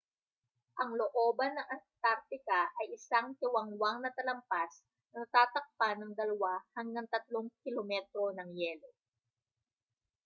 ang looban ng antartica ay isang tiwangwang na talampas na natatakpan ng 2-3 km ng yelo